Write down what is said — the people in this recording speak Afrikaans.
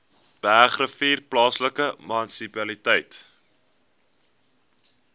bergrivier plaaslike munisipaliteit